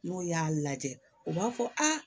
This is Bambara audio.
N'o y'a lajɛ u b'a fɔ aa